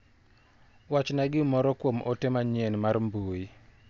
Wachna gimiro kuom ote manyien mar mbui.